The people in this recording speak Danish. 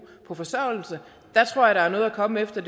på forsørgelse der tror jeg der er noget at komme efter